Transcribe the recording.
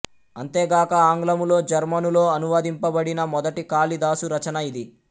అంతేగాక ఆంగ్లములో జర్మనులో అనువదింపబడిన మొదటి కాళిదాసు రచన ఇది